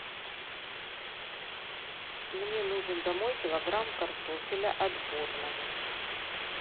мне нужен домой килограмм картофеля отборного